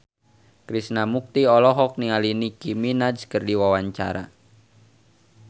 Krishna Mukti olohok ningali Nicky Minaj keur diwawancara